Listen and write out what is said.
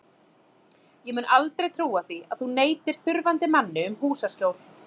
Ég mun aldrei trúa því að þú neitir þurfandi manni um húsaskjól.